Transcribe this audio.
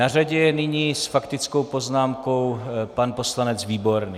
Na řadě je nyní s faktickou poznámkou pan poslanec Výborný.